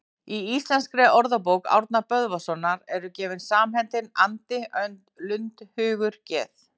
Í Íslenskri orðabók Árna Böðvarssonar eru gefin samheitin andi, önd, lund, hugur, geð